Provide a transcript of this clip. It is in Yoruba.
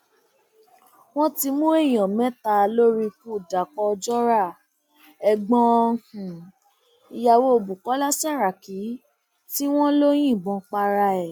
wọn ti mú èèyàn mẹta lórí ikú dapò ojora ẹgbọn um ìyàwó bukola saraki tí um wọn lọ yìnbọn para ẹ